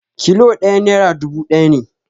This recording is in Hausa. Kilo ɗaya nera dubu ɗaya ne